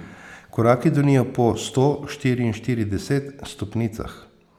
Koraki donijo po sto štiriinštirideset stopnicah.